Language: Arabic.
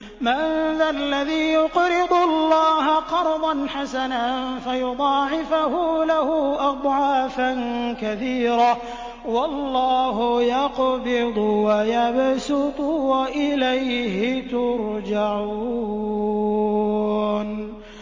مَّن ذَا الَّذِي يُقْرِضُ اللَّهَ قَرْضًا حَسَنًا فَيُضَاعِفَهُ لَهُ أَضْعَافًا كَثِيرَةً ۚ وَاللَّهُ يَقْبِضُ وَيَبْسُطُ وَإِلَيْهِ تُرْجَعُونَ